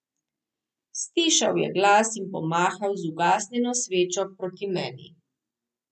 Stišal je glas in pomahal z ugasnjeno svečo proti meni.